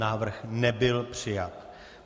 Návrh nebyl přijat.